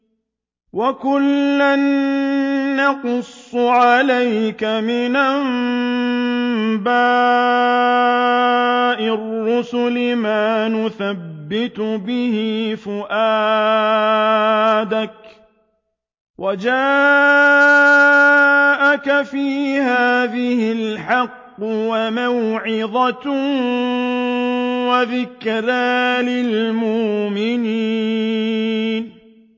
وَكُلًّا نَّقُصُّ عَلَيْكَ مِنْ أَنبَاءِ الرُّسُلِ مَا نُثَبِّتُ بِهِ فُؤَادَكَ ۚ وَجَاءَكَ فِي هَٰذِهِ الْحَقُّ وَمَوْعِظَةٌ وَذِكْرَىٰ لِلْمُؤْمِنِينَ